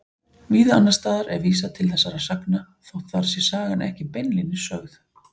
Víða annars staðar er vísað til þessara sagna þótt þar sé sagan ekki beinlínis sögð.